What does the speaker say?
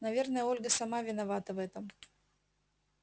наверное ольга сама виновата в этом